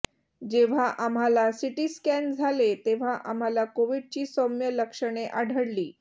जेव्हा आम्हाला सिटीस्कॅन झाले तेव्हा आम्हाला कोविडची सौम्य लक्षणे आढळली